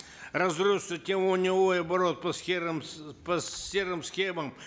разросся оборот по серым по серым схемам